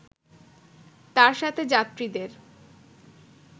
তার সাথে যাত্রীদের